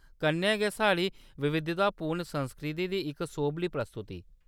कन्नै गै, साढ़ी विविधतापूर्ण संस्कृति दी इक सोभली प्रस्तुति।